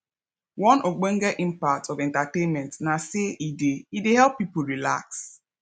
one ogbenge impact of entertainment na say e dey e dey help people relax